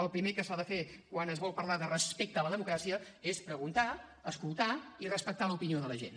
el primer que s’ha de fer quan es vol parlar de respecte a la democràcia és preguntar escoltar i respectar l’opinió de la gent